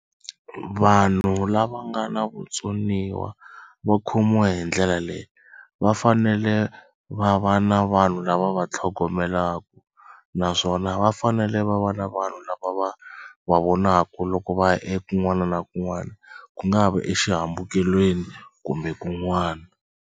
Vanhu lava nga na vutsoniwa va khomiwa hi ndlela leyi va fanele va va na vanhu lava va tlhogomelaku naswona va fanele va va na vanhu lava va va vonaka loko va ya ekun'wana na kun'wana ku nga va exihambukelweni kumbe kun'wana.